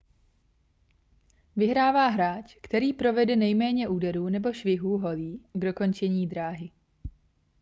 vyhrává hráč který provede nejméně úderů nebo švihů holí k dokončení dráhy